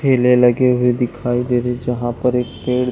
ठेले लगे हुए दिखाई दे रहे है जहाँ पर एक पेड़--